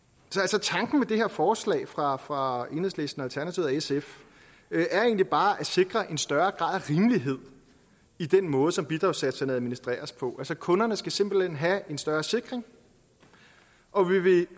så tanken med det her forslag fra fra enhedslisten alternativet og sf er egentlig bare at sikre en større grad af rimelighed i den måde som bidragssatserne administreres på kunderne skal simpelt hen have en større sikring og vi vil